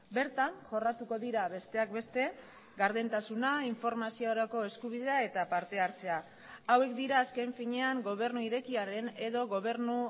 bertan jorratuko dira besteak beste gardentasuna informaziorako eskubidea eta partehartzea hauek dira azken finean gobernu irekiaren edo gobernu